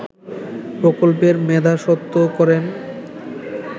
প্রকল্পের মেধাস্বত্ব করেন